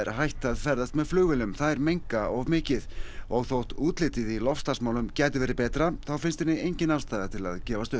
hætt að ferðast með flugvélum þær menga of mikið og þótt útlitið í loftslagsmálum gæti verið betra þá finnst henni engin ástæða til að gefast upp